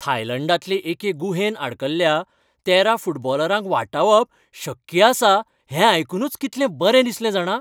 थायलँडांतले एके गुहेंत आडकल्ल्या तेरा फुटबॉलरांक वाटावप शक्य आसा हें आयकूनच कितलें बरें दिसलें जाणा.